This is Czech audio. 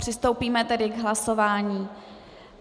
Přistoupíme tedy k hlasování.